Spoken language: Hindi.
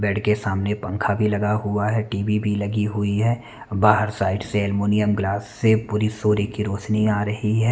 बेड के सामने पंखा भी लगा हुआ है टीवी लगी हुई है बाहर साइड से एल्मोनियम ग्लास से पूरी सूर्य की रोशनी आ रही है।